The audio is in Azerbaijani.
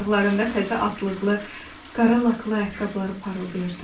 Ayaqlarında təzə atlıqlı, qara laklı ayaqqabıları parıldayırdı.